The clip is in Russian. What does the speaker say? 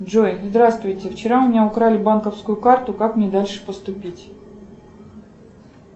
джой здравствуйте вчера у меня украли банковскую карту как мне дальше поступить